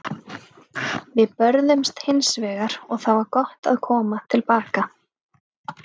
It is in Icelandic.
Við börðumst hins vegar og það var gott að koma til baka.